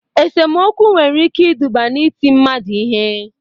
Esomokwu nwere ike iduba n'iti mmadụ ihe